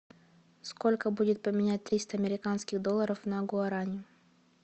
сколько будет поменять триста американских долларов на гуарани